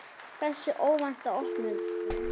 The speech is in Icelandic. Þessi óvænta opnun